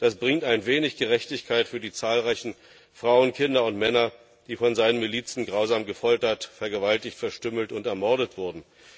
Das bringt ein wenig Gerechtigkeit für die zahlreichen Frauen, Kinder und Männer, die von seinen Milizen grausam gefoltert, vergewaltigt, verstümmelt und ermordet wurden.